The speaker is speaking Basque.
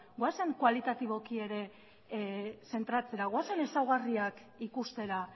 goazen koalitatiboki ere zentratzera goazen ezaugarriak ikustera